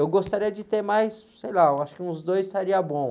Eu gostaria de ter mais, sei lá, eu acho que uns dois estaria bom.